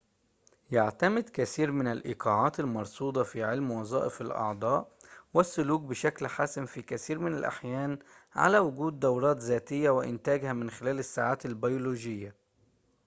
يعتمد كثير من الإيقاعات المرصودة في علم وظائف الأعضاء والسلوك بشكل حاسم في كثير من الأحيان على وجود دورات ذاتية وإنتاجها من خلال الساعات البيولوجية